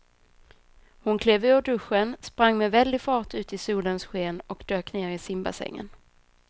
Hon klev ur duschen, sprang med väldig fart ut i solens sken och dök ner i simbassängen.